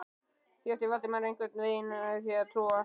Því átti Valdimar einhvern veginn erfitt með að trúa.